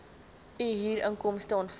u huurinkomste ontvang